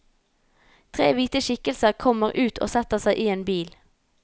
Tre hvite skikkelser kommer ut og setter seg i en bil.